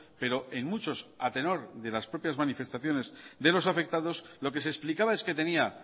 pero en muchos a tenor de las propias manifestaciones de los afectados lo que se explicaba es que tenía